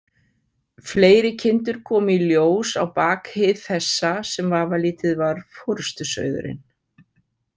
Fleiri kindur komu í ljós á bak hið þessa, sem vafalítið var forystusauðurinn.